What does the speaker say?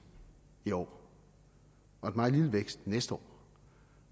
i år og en meget lille vækst næste år